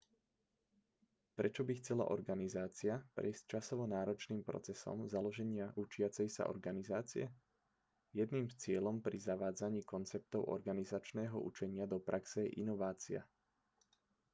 prečo by chcela organizácia prejsť časovo náročným procesom založenia učiacej sa organizácie jedným z cieľov pri zavádzaní konceptov organizačného učenia do praxe je inovácia